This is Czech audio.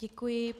Děkuji.